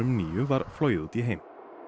níu var flogið út í heim